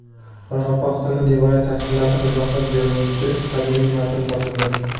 Qoraqalpog‘istonda devoriy tasvirlarni izohlab beruvchi qadimiy matn topildi.